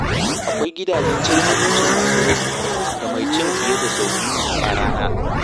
Akwai gidajen cin abinci masu ragi ga mai ci fiye da sau biyu a rana.